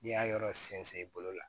N'i y'a yɔrɔ sɛnsɛn i bolo la